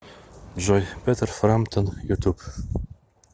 джой петер фрамптон ютуб